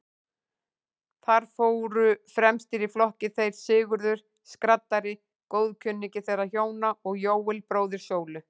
Þar fóru fremstir í flokki þeir Sigurður skraddari, góðkunningi þeirra hjóna, og Jóel, bróðir Sólu.